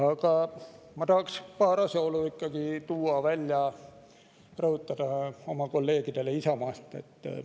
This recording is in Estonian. Aga ma tahaks paar asjaolu välja tuua, rõhutada neid oma kolleegidele Isamaast.